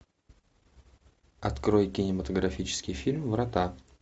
открой кинематографический фильм врата